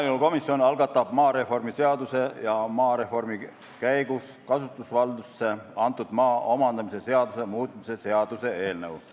Maaelukomisjon algatab maareformi seaduse ja maareformi käigus kasutusvaldusesse antud maa omandamise seaduse muutmise seaduse eelnõu.